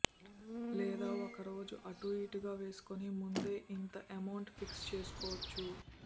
లేదా ఒక రోజు అటు ఇటుగా వేసుకుని ముందే ఇంత అమౌంట్ ఫిక్స్ చేసుకోవచ్చు